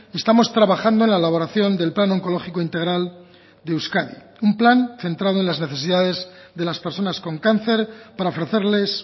estamos trabajando en la elaboración del plan oncológico integral de euskadi un plan centrado en las necesidades de las personas con cáncer para ofrecerles